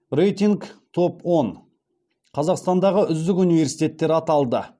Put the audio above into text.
рейтинг топ он қазақстандағы үздік университеттер аталды